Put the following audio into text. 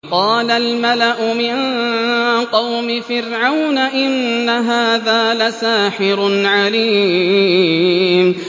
قَالَ الْمَلَأُ مِن قَوْمِ فِرْعَوْنَ إِنَّ هَٰذَا لَسَاحِرٌ عَلِيمٌ